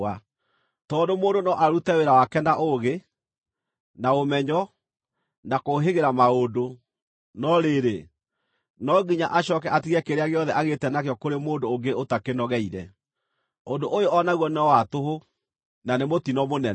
Tondũ mũndũ no arute wĩra wake na ũũgĩ, na ũmenyo, na kũũhĩgĩra maũndũ, no rĩrĩ, no nginya acooke atige kĩrĩa gĩothe agĩĩta nakĩo kũrĩ mũndũ ũngĩ ũtakĩnogeire. Ũndũ ũyũ o naguo no wa tũhũ, na nĩ mũtino mũnene.